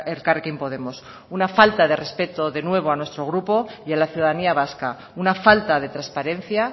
elkarrekin podemos una falta de respeto de nuevo a nuestro grupo y a la ciudadanía vasca una falta de transparencia